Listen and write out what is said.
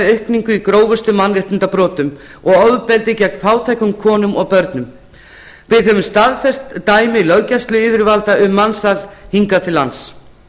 aukningu í grófustu mannréttindabrotum og ofbeldi gegn fátækum konum og börnum við höfum staðfest dæmi löggæsluyfirvalda um mansal hingað til lands